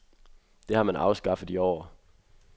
Det har man afskaffet i år.